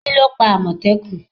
Kíló pa àmọ̀tẹ́kùn?